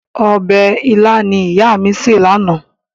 Ọbẹ̀ ilá ni ìyá mi sè lánàá.